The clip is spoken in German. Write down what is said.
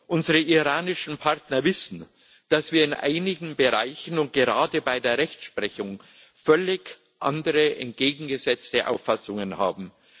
Unsere iranischen Partner wissen, dass wir in einigen Bereichen und gerade bei der Rechtsprechung völlig andere, entgegengesetzte Auffassungen haben.